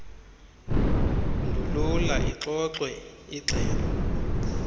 ndulula ixoxwe igxelo